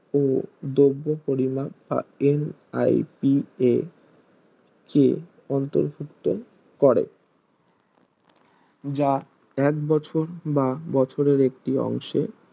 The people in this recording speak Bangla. ও দ্রব্য পরিমাপ NIPK অন্তর্ভুক্ত করে যা একবছর বা বছরের একটি অংশে